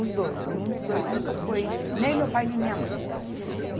Os dois, nenhum dos dois nunca foi, nem meu pai nem minha mãe.